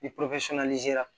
Ni